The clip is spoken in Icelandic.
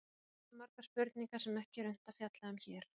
Hér vakna margar spurningar sem ekki er unnt að fjalla um hér.